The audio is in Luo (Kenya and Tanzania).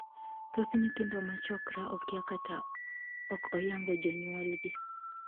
Thoth nyithindo ma 'chokra' okia kata ok oyango jonyuolgi.